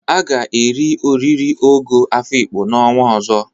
A ga-eri oriri ogo Afikpo n'ọnwa ọzọ.